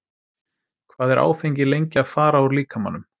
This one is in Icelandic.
Hvað er áfengi lengi að fara úr líkamanum?